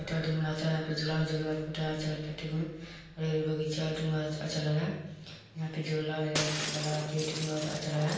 --बच्चा यहाँ पर झुला झूल रहा है और एक बगीचा अच्छा लग रहा है यहाँ पे झुला अच्छा लग रहा है।